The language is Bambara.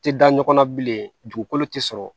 Tɛ da ɲɔgɔn na bilen dugukolo tɛ sɔrɔ